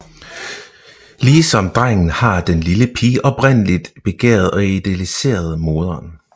Ligesom drengen har den lille pige oprindeligt begæret og idealiseret moderen